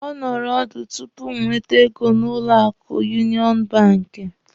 Ọ nụrụ ọdụ tupu m wete ego n'ụlọ akụ Yunịọnụ banki.